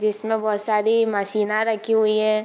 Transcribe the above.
जिसमें बोहोत सारी मशीना रखी हुई है।